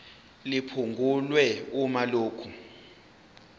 liphungulwe uma lokhu